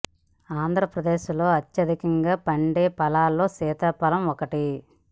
ఆంధ్ర ప్రదేశ్ లో అత్యధికంగా పండే ఫలాలో సీతా ఫలం ఒకటి